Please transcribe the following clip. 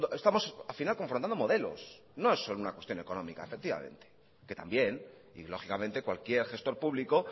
estamos al final confrontando modelos no es solo una cuestión económica efectivamente que también y lógicamente cualquier gestos público